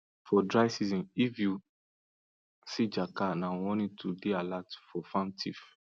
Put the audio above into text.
for dry season if you see jackal na warning to dey alert for farm thief